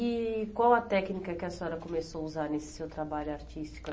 E qual a técnica que a senhora começou a usar nesse seu trabalho artístico?